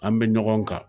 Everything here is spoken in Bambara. An bɛ ɲɔgɔn kan